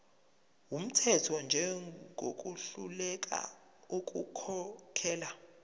wumthetho njengohluleka ukukhokhela